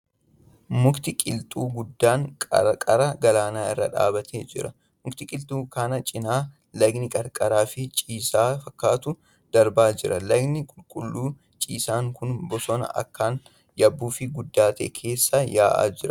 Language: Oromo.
Mukti qilxuu guddaan qarqara lagaa irra dhaabbatee jira. Muka qilxuu kana cinaa lagni qarraaraa fi ciisaa fakkaatu darbaa jira. Lagni qulqulluu ciisaan kun bosona akkaan yabbuu fi guddaa ta'e keessa yaa'aa jira.